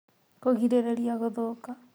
Kũgirĩrĩria gũthũka